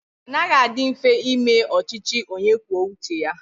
Ọ naghị adị mfe ime ọchịchị onye kwuo uche ya.